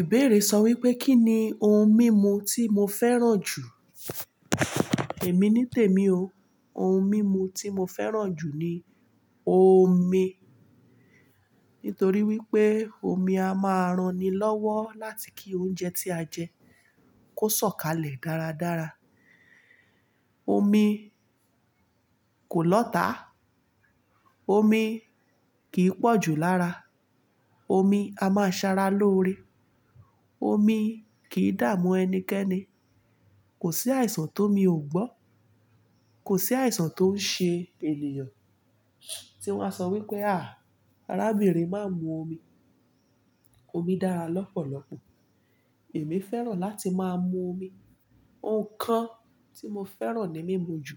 Ìbéèrè sọ wípé kí ni ohun mímu tí mo fẹ́ràn jù? Èmi nítèmi o. Ohun mímu tí mo fẹ́ràn jù ni omi. Nítorí wípé omi a máa ranni lọ́wọ́ láti kí oúnjẹ tí a jẹ kó sọ̀kalẹ̀ dáradára. Omi kò lọ́tà. Omi kì í pọ̀ jù lára. Omi a máa ṣara lóore. Omi kì í dààmú ẹnikẹ́ni. Kò sí àìsàn tó omi ò gbọ́. Kò sí àìsàn tó ń ṣe ènìyàn tí wọ́n á sọ wípé à, arábìnrin má mu omi. Omi dára lọ́pọ̀lọpọ̀. Èmi fẹ́ràn láti máa mu omi. Ǹkan tí mo fẹ́ràn ní mímu jù,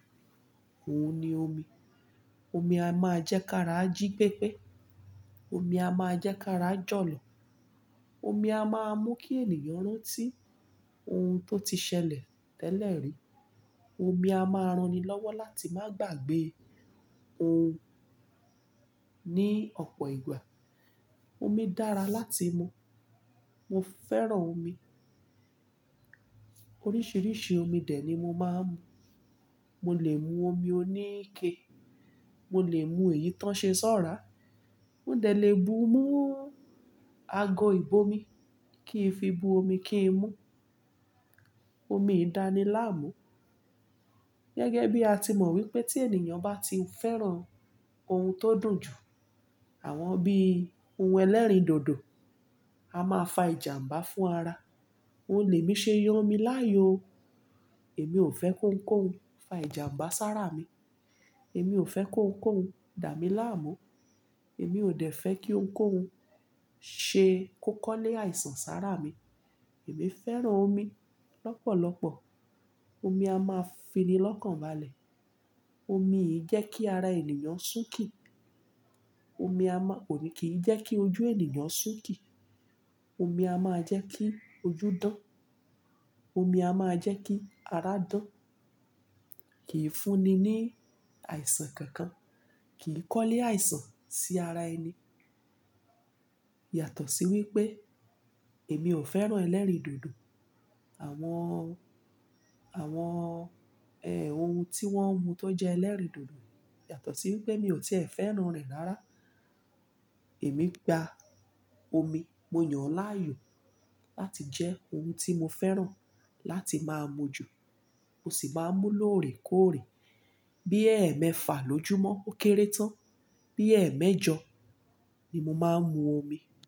òun ni omi. Omi a máa jẹ́ ká ra jí pépé. Omi a máa jẹ́ ká ra jọ̀lọ̀. Omi a máa mú kí ènìyàn rántí ohun tó ti ṣẹlẹ̀ tẹ́lẹ̀ rí. Omi a máa ranni lọ́wọ́ láti má gbàgbé ohun ní ọ̀pọ̀ ìgbà. Omi dára láti mú. Mo fẹ́ràn omi. Oríṣiríṣi omi dè ni mo máa ń mú. Mo lè mú omi oníke. Mo lè mú èyí tó ń ṣe ṣọ́rà. Mo dẹ̀ lè bu mú ago ìb'omi kí n fi bu omi kí n mú. Omi e dàni láàmú. Gẹ́gẹ́ bí a ti mọ̀ wípé tí ènìyàn bá ti ń fẹ́ràn ohun tó dùn jù, àwọn bí ohun ẹlẹ́rìn dòdò, a máa fa ìjàmbá fún ara. Òun lè mí ṣe yàn omi láàyò. Èmi ò fẹ́ kóun kóuń fa ìjàmbá sára mi. Èmi ò fẹ́ kóun kóuń dà mi láàmú. Èmi ò dẹ̀ fẹ́ kí óuń kouń ṣe kó kọ́lé àìsàn sára mi. Èmi fẹ́ràn omi lọ́pọ̀lọpọ̀. Omi a máa fini lọ́kànbalẹ̀. Omi e jẹ́ kí ara ènìyàn sún kì. Omi kìí jẹ́ kí ojú ènìyàn súnkì. Omi a máa jẹ́ kí ojú dán. Omi a máa jẹ́ kí ara dán. Kìí funi ní àìsàn kankan. Kì í kọ́lé àìsàn sí ara ẹni. Yàtọ̀ sí wípé èmi ò fẹ́ràn ẹlẹ́rìn dòdò. Àwọn àwọn ohun tí wọ́n mu tó jẹ́ ẹlẹ́rìndòdò. Yàtọ̀ sí wípé mi ò tiẹ̀ fẹ́ràn rẹ̀ rárá. Èmi gba omi, mo yàn ọ́ láàyò láti jẹ́ ohun tí mo fẹ́ràn láti máa mu jù. Mo sì máa ń mú lóore kóòre. Bí ẹ̀ẹ́ mẹ́fà lójúmọ́ ó kéré tán, bí ẹ̀ẹ́ mẹ́jọ ni mo máa ń mu omi.